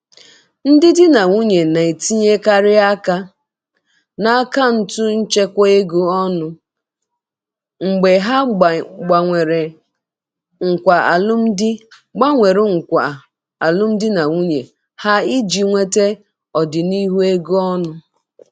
Ndị di na nwunye na-etinyekarị aka na akaụntụ nchekwa ego ọnụ mgbe ha gbanwere nkwa alụmdi gbanwere nkwa alụmdi na nwunye ha iji nweta ọdịnihu ego ọnụ.